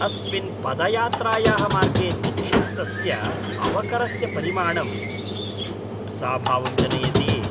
अस्मिन् पदयात्रायाः मार्गे निक्षिप्तस्य अवकरस्य परिमाणं जुगुप्साभावं जनयति।